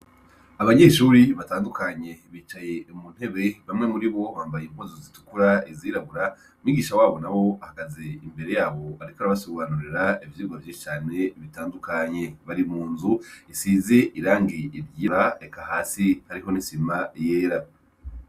Abanyeshure batandukanye bicaye mu ntebe bamwe muri bo bambaye impuzu zitukura izirabura, umwigisha wabo ahagaze imbere yabo ariko arabasobanurira ivyigwa vyinshi cane bitandukanye. Bari mu nzu isize irangi ryera eka hasi hariko n'isima yera.